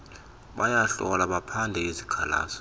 bayahlola baphande izikhalazo